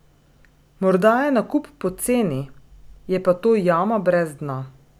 Morda je nakup poceni, je pa to jama brez dna!